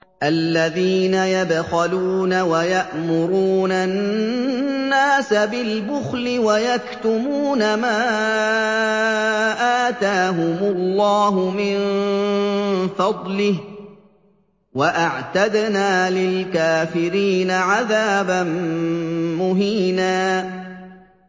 الَّذِينَ يَبْخَلُونَ وَيَأْمُرُونَ النَّاسَ بِالْبُخْلِ وَيَكْتُمُونَ مَا آتَاهُمُ اللَّهُ مِن فَضْلِهِ ۗ وَأَعْتَدْنَا لِلْكَافِرِينَ عَذَابًا مُّهِينًا